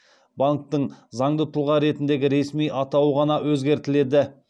банктің заңды тұлға ретіндегі ресми атауы ғана өзгертіледі